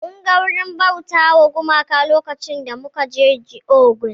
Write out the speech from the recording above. Mun ga wurin bauta wa gumaka lokacin da muka je Ogun